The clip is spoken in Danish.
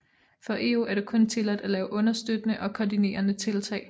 For EU er det kun tilladt at lave understøttende og koordinerende tiltag